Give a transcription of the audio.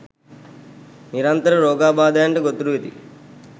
නිරන්තර රෝගාබාධයන්ට ගොදුරු වෙති.